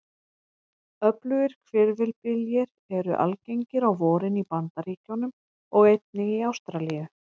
Öflugir hvirfilbyljir eru algengir á vorin í Bandaríkjunum og einnig í Ástralíu.